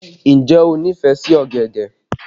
Ǹjẹ́ o nífẹ̀ẹ́ sí ọ̀gẹ̀dẹ̀?